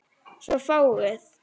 Svo fáguð.